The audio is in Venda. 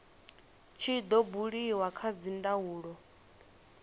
tshi do buliwa kha dzindaulo